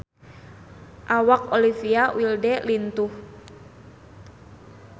Awak Olivia Wilde lintuh